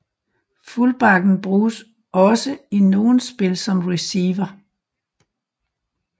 Fullbacken bruges også i nogle spil som receiver